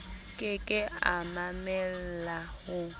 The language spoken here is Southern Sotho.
ke ke a mamella ho